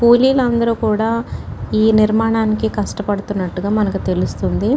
కూలీలందరు కూడా ఈ నిర్మాణానికి కష్టపడుతున్నటుగా మనకు తెలుస్తుంది.